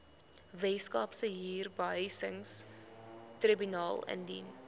weskaapse huurbehuisingstribunaal indien